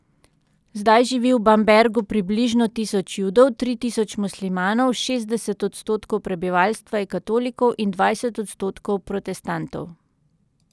Zdaj živi v Bambergu približno tisoč Judov, tri tisoč muslimanov, šestdeset odstotkov prebivalstva je katolikov in dvajset odstotkov protestantov.